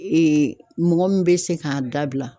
mɔgɔ min bɛ se k'a dabila.